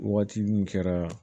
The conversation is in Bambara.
Waati min kɛra